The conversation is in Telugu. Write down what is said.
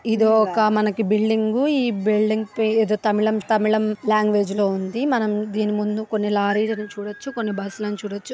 ఇదొక మనకి బిల్డింగు ఈ బిల్డింగ్ పే ఏదో తమిళం షు తమిళం లాంగ్వేజ్ లో ఉంది. మనం దీని ముందు కొన్ని లారీలు చూడవచ్చు. కొన్ని బా--